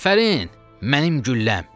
Afərin, mənim gülləm!